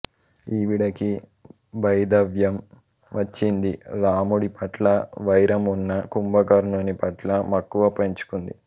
ఈవిడకి వైధవ్యం వచ్చింది రాముడి పట్ల వైరం ఉన్న కుంభకర్ణుని పట్ల మక్కువ పెంచుకుంది